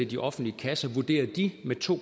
de offentlige kasser vurderer de med to